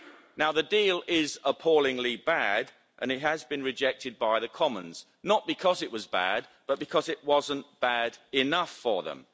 Now, the deal is appallingly bad and it has been rejected by the Commons not because it was bad, but because it wasn't bad enough for them.